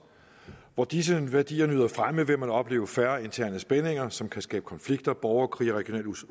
hvor disse værdier nyder fremme vil man opleve færre interne spændinger som kan skabe konflikter borgerkrige og